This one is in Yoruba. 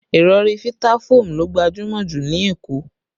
Ìrọ̀rí Vitafoam ló gbajúmọ̀ ju ní Èkó